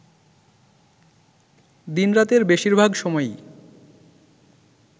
দিন-রাতের বেশির ভাগ সময়ই